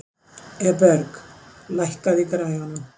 Eberg, lækkaðu í græjunum.